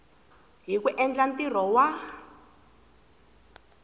hi ku endla ntirho wa